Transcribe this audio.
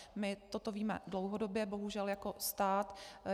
My toto víme dlouhodobě bohužel jako stát.